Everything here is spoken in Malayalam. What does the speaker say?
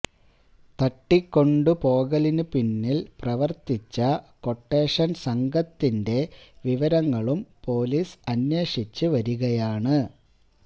തട്ടിക്കൊണ്ടുപോകലിന് പിന്നിൽ പ്രവർത്തിച്ച ക്വട്ടേഷൻ സംഘത്തിന്റെ വിവരങ്ങലും പൊലീസ് അന്വേഷിച്ച് വരികയാണ്